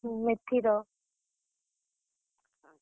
ହୁଁ, ମେଥି ର।